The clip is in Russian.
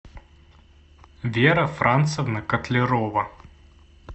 вера францевна котлярова